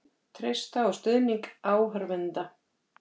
Treysta á stuðning áhorfenda